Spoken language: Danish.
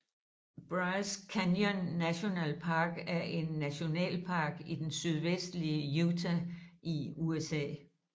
Bryce Canyon National Park er en nationalpark i den sydvestlige Utah i USA